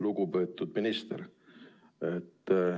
Lugupeetud minister!